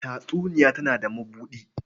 Tatsuniya tana da mabuɗi.